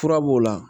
Fura b'o la